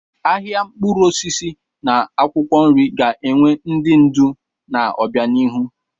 Ahịa mkpụrụ osisi na akwụkwọ nri ga-enwe ndị ndu n'obianihu.